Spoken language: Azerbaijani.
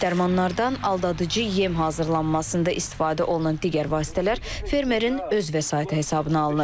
Dərmanlardan aldadıcı yem hazırlanmasında istifadə olunan digər vasitələr fermerin öz vəsaiti hesabına alınır.